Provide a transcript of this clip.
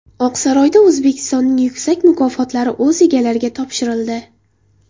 Oqsaroyda O‘zbekistonning yuksak mukofotlari o‘z egalariga topshirildi.